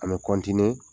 An bɛ